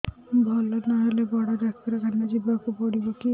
ଭଲ ନହେଲେ ବଡ ଡାକ୍ତର ଖାନା ଯିବା କୁ ପଡିବକି